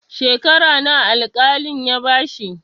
Shekara nawa al-kalin ya bashi?